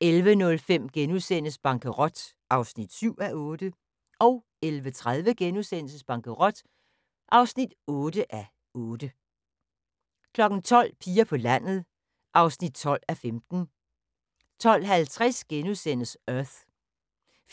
11:05: Bankerot (7:8)* 11:30: Bankerot (8:8)* 12:00: Piger på landet (12:15) 12:50: Earth